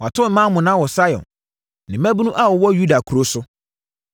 Wɔato mmaa monnaa wɔ Sion, ne mmaabunu a wɔwɔ Yuda nkuro so.